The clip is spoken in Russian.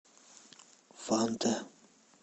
фанта